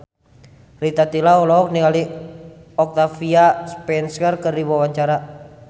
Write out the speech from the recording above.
Rita Tila olohok ningali Octavia Spencer keur diwawancara